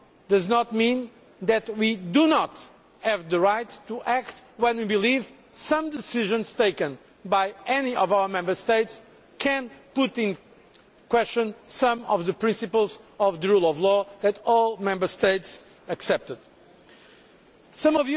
That, of course, does not mean that we do not have the right to act when we believe decisions taken by any of our Member States may call into question some of the principles of the rule of law that all Member States accepted.